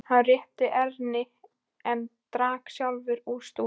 Hann rétti Erni en drakk sjálfur af stút.